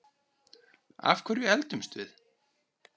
Af hverju eldumst við?